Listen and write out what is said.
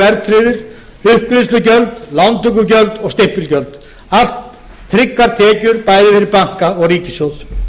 verðtryggðir uppgreiðslugjöld lántökugjöld og stimpilgjöld allt tryggar tekjur bæði fyrir banka og ríkissjóð